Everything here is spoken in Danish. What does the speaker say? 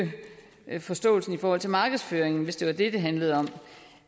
forståelsen i forhold til markedsføringen hvis det var det det handlede om